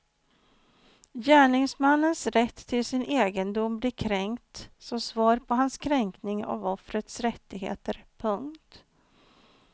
Gärningsmannens rätt till sin egendom blir kränkt som svar på hans kränkning av offrets rättigheter. punkt